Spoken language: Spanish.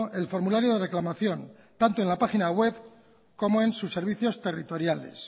el formulario de reclamación tanto en la página web como en sus servicios territoriales